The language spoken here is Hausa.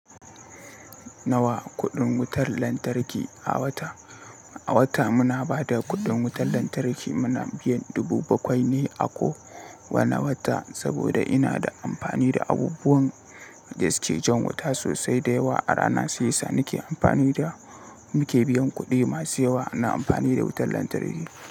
Nawa kuɗin wutar lantarki a wata? A wata muna ba da kuɗin wutar lantarki, muna biyan dubu bakwai ne a ko wane wata saboda ina da amfani da abubuwan da suke jan wuta sosai da yawa. A rana sai yasa nake amfani da, muke biyan kuɗi masu yawa na amfani da wutar lantarki.